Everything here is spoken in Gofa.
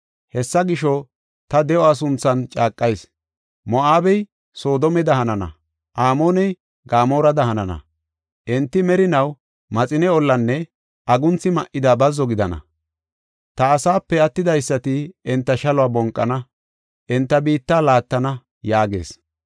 Hessa gisho, ta de7o sunthan caaqayis; Moo7abey Sodoomeda hanana; Amooney Gamoorada hanana. Enti merinaw maxine ollanne agunthi ma77ida bazzo gidana. Ta asape attidaysati enta shaluwa bonqana; enta biitta laattana” yaagees.